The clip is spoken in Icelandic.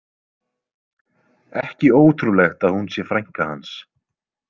Ekki ótrúlegt að hún sé frænka hans.